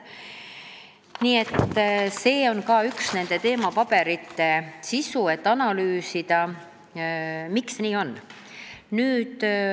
Nii et see on ka nende teemapaberite sisu, et analüüsida, miks nii on.